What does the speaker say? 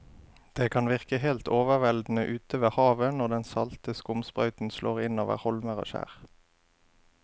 Det kan virke helt overveldende ute ved havet når den salte skumsprøyten slår innover holmer og skjær.